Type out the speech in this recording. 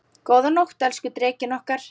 Góða nótt, elsku Drekinn okkar.